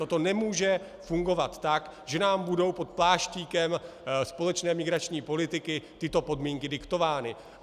Toto nemůže fungovat tak, že nám budou pod pláštíkem společné migrační politiky tyto podmínky diktovány.